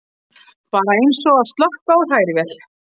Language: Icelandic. Bara eins og að slökkva á hrærivél.